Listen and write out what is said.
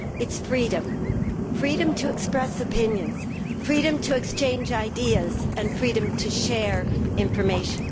it is freedom freedom to express opinions, freedom to exchange ideas and freedom to share information.